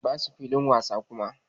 A'a yaran basu filin wasa kuma.